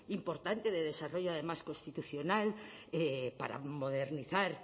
importante de desarrollo además constitucional para modernizar